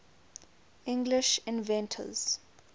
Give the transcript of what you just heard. english inventors